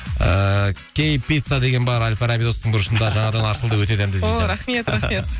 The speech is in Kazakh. ыыы кэй пицца деген бар бұрышында жаңадан ашылды өте дәмді дейді ооо рахмет рахмет